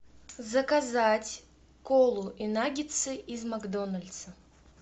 заказать колу и наггетсы из макдональдса